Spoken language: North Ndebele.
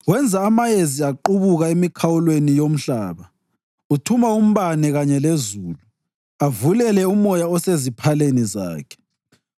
Wenza amayezi aqubuka emikhawulweni yomhlaba; uthuma umbane kanye lezulu, avulele umoya oseziphaleni zakhe.